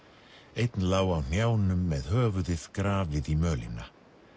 einn lá á hnjánum með höfuðið grafið í mölina